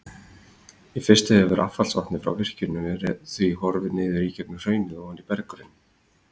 Í fyrstu hefur affallsvatnið frá virkjuninni því horfið niður í gegnum hraunið ofan í berggrunninn.